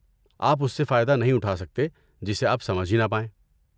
آپ اس سے فائدہ نہیں اٹھا سکتے جسے آپ سمجھ ہی نہ پائیں۔